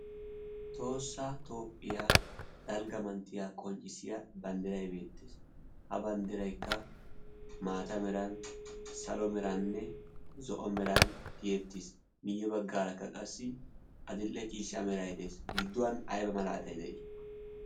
toossaa toophphiyaa dalggamanttiya qonccissiya banddiray beettees. ha banddiraikka maata meran salo meraanne zo'o meran tiyeettiis miyye baggaarakka qassi adil'e ciishshaa merai de'es. gidduwan aiba malaatai de'ii?